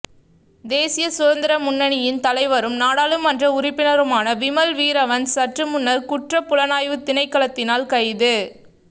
தேசிய சுதந்திர முன்னணியின் தலைவரும் நாடாளுமன்ற உறுப்பினருமான விமல் வீரவன்ச சற்று முன்னர் குற்றப் புலனாய்வுத் திணைக்களத்தினால் கைது